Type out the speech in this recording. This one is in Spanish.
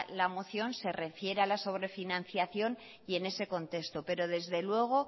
la moción se refiere a la sobrefinanciación y en ese contexto pero desde luego